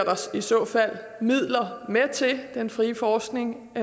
midler med til det den frie forskning